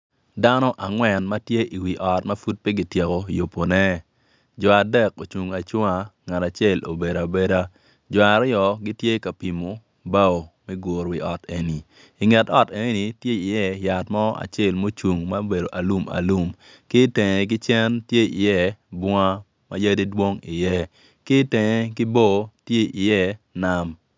Dano angwen ma tye iwi ot ma pud pi ki tyeko yubune Jo adek ocung acunga ngat acel obedo abeda Jo aryo gin tye ka pimo bao me guro wi ot enni inget ot eni tye iye yat acel mucung alum alum ki itenge ki cen tye iye bunga ma yadi dong iye ki itenge ki bor to iye nam